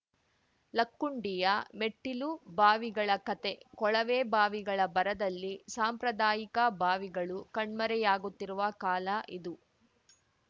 ಲಕ್ಕುಂಡಿಯ ಮೆಟ್ಟಿಲು ಬಾವಿಗಳ ಕಥೆ ಕೊಳವೆಬಾವಿಗಳ ಭರದಲ್ಲಿ ಸಾಂಪ್ರದಾಯಿಕ ಬಾವಿಗಳು ಕಣ್ಮರೆಯಾಗುತ್ತಿರುವ ಕಾಲ ಇದು